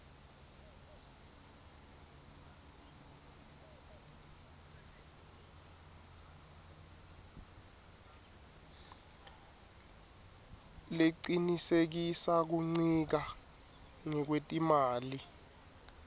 lecinisekisa kuncika ngekwetimali